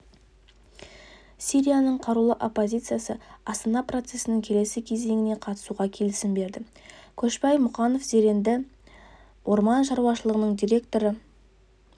сирияның қарулы оппозициясы астана процесінің келесі кезеңіне қатысуға келісім берді көшпай мұқанов зеренді орман шаруашылығының директоры